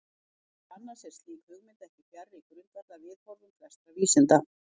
Meðal annars er slík hugmynd ekki fjarri grundvallarviðhorfum flestra vísinda.